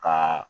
Ka